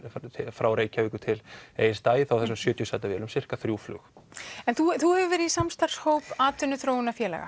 frá Reykjavíkur til Egilsstaða í þessum sjötíu sæta vélum sirka þrjú flug en þú hefur verið í samstarfshóp atvinnuþróunarfélaga